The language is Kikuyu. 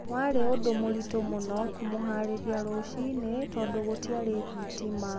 Warĩ ũndũ mũritũ mũno kũmũhaarĩria rũcinĩ, tondũ gũtiarĩ thitima.